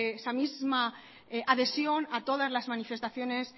esa misma adhesión a todas las manifestaciones